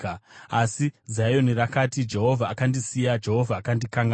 Asi Zioni rakati, “Jehovha akandisiya, Jehovha akandikanganwa.”